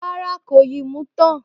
Ràrá, kò yìí mú tàn.